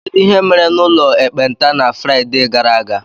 Kedu ihe mere n'ụlọ ekpenta na Fraịde gara aga?